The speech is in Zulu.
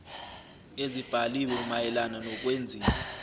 ezibhaliwe mayelana nokwenziwa